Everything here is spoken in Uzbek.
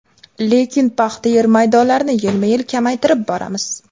Lekin paxta yer maydonlarini yilma-yil kamaytirib boramiz.